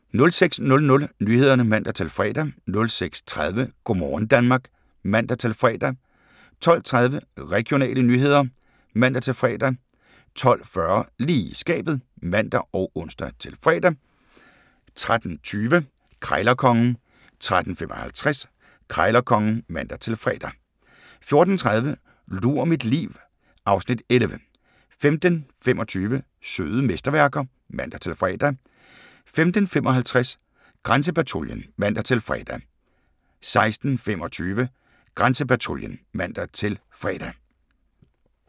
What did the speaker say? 06:00: Nyhederne (man-fre) 06:30: Go' morgen Danmark (man-fre) 12:30: Regionale nyheder (man-fre) 12:40: Lige i skabet (man og ons-fre) 13:20: Krejlerkongen 13:55: Krejlerkongen (man-fre) 14:30: Lur mit liv (Afs. 11) 15:25: Søde mesterværker (man-fre) 15:55: Grænsepatruljen (man-fre) 16:25: Grænsepatruljen (man-fre)